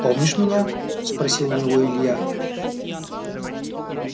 помнишь меня спросил у него илья